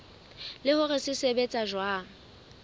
le hore se sebetsa jwang